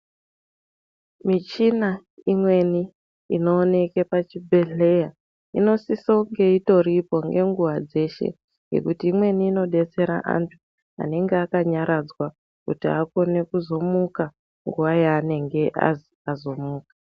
Michina ikweni inooneka pachibhedhleya inosisa kunge itoripo ngenguwa dzeshe ngekuti imweni inldetsera antu anenge akanyaradzwa kuti akone kuzomuka nguwa yaanenge azwi azomuka.